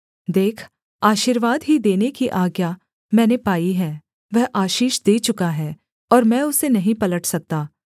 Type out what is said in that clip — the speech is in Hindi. देख आशीर्वाद ही देने की आज्ञा मैंने पाई है वह आशीष दे चुका है और मैं उसे नहीं पलट सकता